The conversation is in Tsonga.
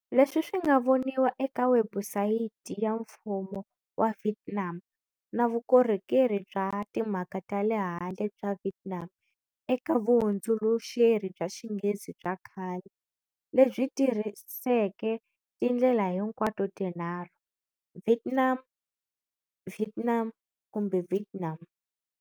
Leswi swi nga voniwa eka webusayiti ya Mfumo wa Vietnam na Vukorhokeri bya Timhaka ta le Handle bya Vietnam eka vuhundzuluxeri bya Xinghezi bya khale, lebyi tirhiseke tindlela hinkwato tinharhu-"Vietnam","Vietnam" kumbe"Vietnam".